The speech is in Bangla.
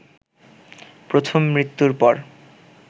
প্রথম মৃত্যুর পর